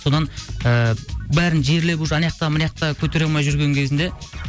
содан ііі бәрін жерлеп уже анаяқта мынаяқта көтере алмай жүрген кезінде